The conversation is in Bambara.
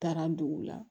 Taara dugu la